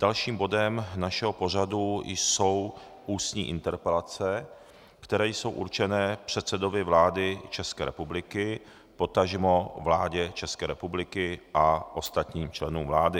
Dalším bodem našeho pořadu jsou ústní interpelace, které jsou určené předsedovi vlády České republiky, potažmo vládě České republiky a ostatním členům vlády.